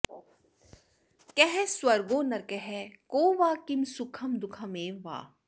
कः स्वर्गो नरकः को वा किं सुखं दुःखमेव वा